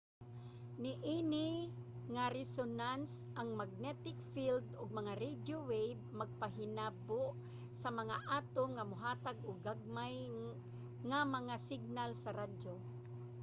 niini nga resonance ang magnetic field ug mga radio wave magpahinabo sa mga atom nga mohatag og gagmay nga mga signal sa radyo